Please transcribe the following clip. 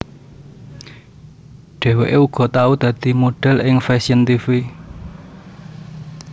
Dhèwèké uga tau dadi modhèl ing fashion tv